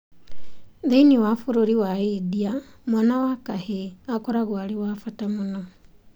Thĩinĩ wa bũrũri wa India mwana wa kahĩĩ akoragwo arĩ wa bata mũno.